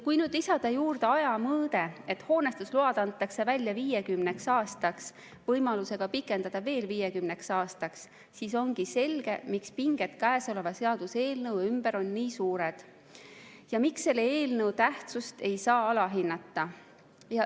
Kui nüüd lisada juurde aja mõõde, et hoonestusload antakse välja 50 aastaks võimalusega pikendada veel 50 aastaks, siis on selge, miks pinged käesoleva seaduseelnõu ümber on nii suured ja miks selle eelnõu tähtsust ei või alahinnata.